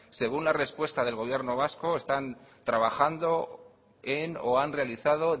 según la respuesta del gobierno vasco están trabajando o han realizado